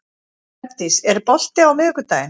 Bergdís, er bolti á miðvikudaginn?